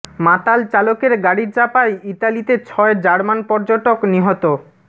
মাতাল চালকের গাড়ি চাপায় ইতালিতে ছয় জার্মান পর্যটক নিহত